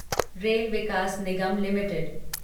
rail Vikas Nigam limited